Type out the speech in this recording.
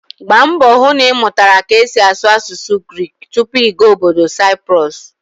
Gbaa mbọ hụ na ị mụtara ka esi asụ asụsụ Grik tupu ị gaa ọbọdọ Saịprọs!